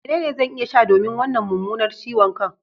Menene zan iya sha domin wannan mummunar ciwon kan?